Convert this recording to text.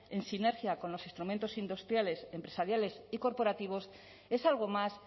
en sinergia con los instrumentos industriales empresariales y corporativos es algo más